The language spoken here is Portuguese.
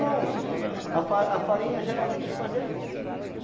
Não, a a farinha geralmente te fazia isso. Tá.